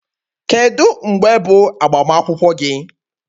Kedu mgbe bụ agbamakwụkwọ gị?